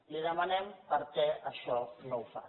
li demanem per què això no ho fa